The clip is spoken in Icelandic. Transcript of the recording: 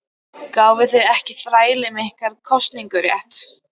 Gáfuð þið ekki þrælunum ykkar kosningarétt?